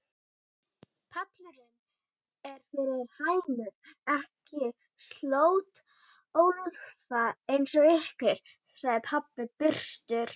Pallurinn er fyrir hænur, ekki slöttólfa eins og ykkur, sagði pabbi byrstur.